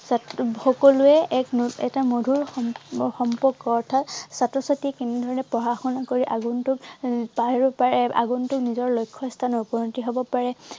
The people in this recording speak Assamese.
তাত সকলোৱে এক এটা মধুৰ সম~সম্পৰ্ক অৰ্থাৎ ছাত্ৰ-ছাত্ৰীয়ে কেনেদৰে পঢ়া শুনা কৰি আগন্তুক তাৰ আগন্তুক নিজৰ লক্ষ্য়ত উপনীত হব পাৰে।